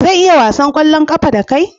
Zan iya wasan ƙwallon ƙafa da kai?